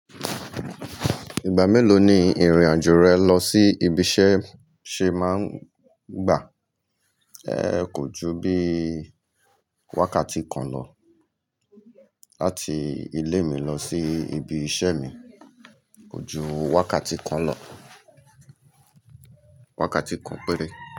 Ìgbà mélòó ni ìrìn àjò rẹ lọ sí ibi iṣẹ́ ṣe máa ń gbà? Ẹ kò ju bí wákàtí kan lọ. Láti ilé mi lọ sí ibi iṣẹ́ mi kò ju wákàtí kan lọ, wákàtí kan péré.